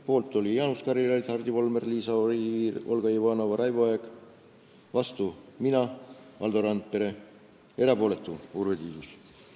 Poolt olid Jaanus Karilaid, Hardi Volmer, Liisa Oviir, Olga Ivanova ja Raivo Aeg, vastu olime mina ja Valdo Randpere, erapooletuks jäi Urve Tiidus.